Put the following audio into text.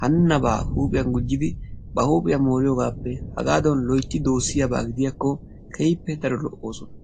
hanenabba huuphphiyan gujiddi ba huuphphiyan mooriyogappe haggadan loytti doosiyaba gidiyakko keehippe daro lo"osona.